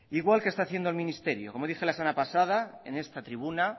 igual que está haciendo el ministerio como dije la semana pasada en esta tribuna